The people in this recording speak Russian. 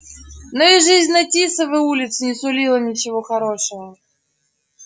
но и жизнь на тисовой улице не сулила ничего хорошего